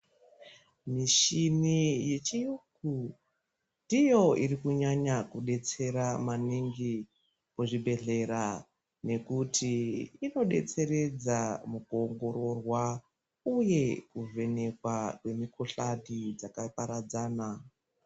Mishini yechiyungu ndiyo irikunyanya kudetsera maningi muzvibhedhlera nekuti inodetseredza mukuongororwa uye kuvhenekwa kwemikuhlani dzakaparadzana.